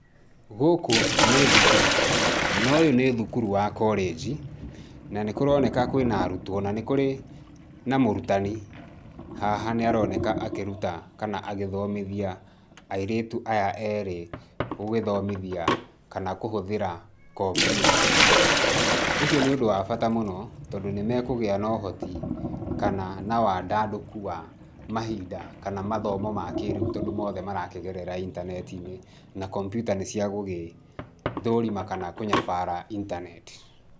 Gũkũ nĩ thukuru, na ũyũ nĩ thukuru wa college. Na nĩ kũroneka kwĩna arutwo, na nĩ kũrĩ na mũrutani haha nĩ aroneka akĩruta kana agĩthomithia airĩtu aya erĩ gũgĩthomithia kana kũhũthĩra kompiuta. Ũcio nĩ ũndũ wa bata mũno tondũ nĩ mekũgia na ũhoti kana na wandandũku wa mahinda kana mathomo ma kĩrĩu tondũ mothe marakĩgerera intaneti-inĩ, na kompiuta nĩ cia gũgĩthũrima kana kũnyabara internet.